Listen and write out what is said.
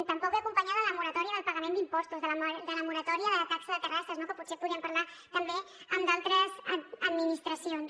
tampoc ve acompanyada de moratòria del pagament d’impostos de la moratòria de la taxa de terrasses que potser podríem parlar també amb d’altres administracions